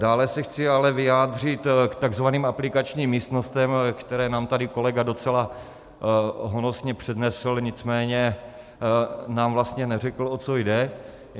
Dále se chci ale vyjádřit k takzvaným aplikačním místnostem, které nám tady kolega docela honosně přednesl, nicméně nám vlastně neřekl, o co jde.